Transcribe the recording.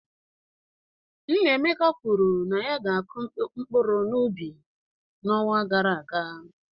Nnaemeka kwuru na ya ga-akụ mkpụrụ n'ubi n'ọnwa gara aga.